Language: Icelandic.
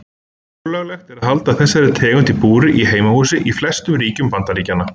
Ólöglegt er að halda þessari tegund í búri í heimahúsi í flestum ríkjum Bandaríkjanna.